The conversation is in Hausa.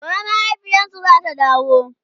gobe mahaifiyarsu zata dawo